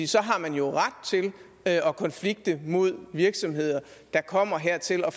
så har man jo ret til at konflikte mod virksomheder der kommer hertil og